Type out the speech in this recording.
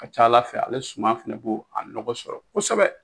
Ka ca ala fɛ ale suman fɛnɛ bo a nɔgɔ sɔrɔ kosɛbɛ